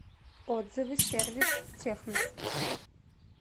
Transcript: отзывы сервис технос